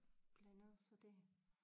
Blandet så det